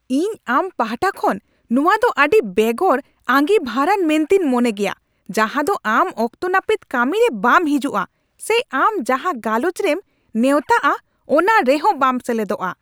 ᱤᱧ ᱟᱢ ᱯᱟᱦᱚᱴᱟ ᱠᱷᱚᱱ ᱱᱚᱶᱟ ᱫᱚ ᱟᱹᱰᱤ ᱵᱮᱜᱚᱨ ᱟᱹᱜᱤᱵᱷᱟᱨᱟᱱ ᱢᱮᱱᱛᱤᱧ ᱢᱚᱱᱮ ᱢᱮᱭᱟ ᱡᱟᱦᱟᱸᱫᱚ ᱟᱢ ᱚᱠᱛᱚ ᱱᱟᱹᱯᱤᱛ ᱠᱟᱹᱢᱤᱨᱮ ᱵᱟᱢ ᱦᱤᱡᱩᱜᱼᱟ ᱥᱮ ᱟᱢ ᱡᱟᱦᱟᱸ ᱜᱟᱞᱚᱪ ᱨᱮᱢ ᱱᱮᱣᱛᱟᱜᱼᱟ ᱚᱱᱟᱨᱮ ᱦᱚᱸ ᱵᱟᱢ ᱥᱮᱞᱮᱫᱚᱜᱼᱟ ᱾